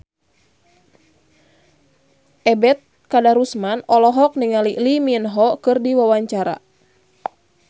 Ebet Kadarusman olohok ningali Lee Min Ho keur diwawancara